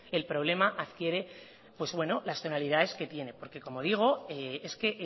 el problema adquiere pues bueno las tonalidades que tiene porque como digo es que